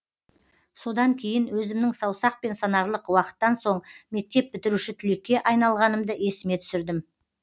содан кейін өзімнің саусақпен санарлық уақыттан соң мектеп бітіруші түлекке айналғанымды есіме түсірдім